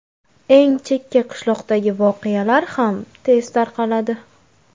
Eng chekka qishloqdagi voqealar ham tez tarqaladi.